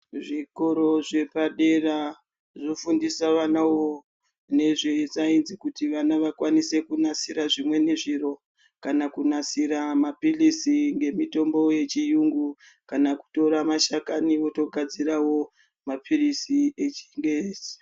Kuzvikoro zvepadera kunofundiswa vanawo ngezve saenzi kuti vana vakwanise kunasira zvimweni zviro, kana kunasira mapilizi nemitombo yechiyungu, kana kutora mashakani otogadzirawo mapilizi echingezi.